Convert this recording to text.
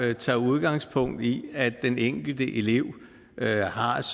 der tager udgangspunkt i at den enkelte elev